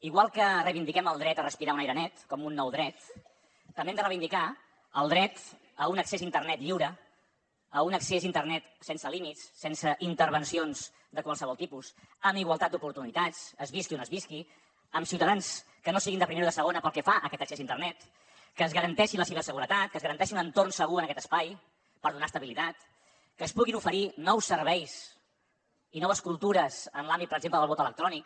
igual que reivindiquem el dret a respirar un aire net com un nou dret també hem de reivindicar el dret a un accés a internet lliure a un accés a internet sense límits sense intervencions de qualsevol tipus amb igualtat d’oportunitats es visqui on es visqui amb ciutadans que no siguin de primera o de segona pel que fa a aquest accés a internet que es garanteixi la ciberseguretat que es garanteixi un entorn segur en aquest espai per donar estabilitat que es puguin oferir nous serveis i noves cultures en l’àmbit per exemple del vot electrònic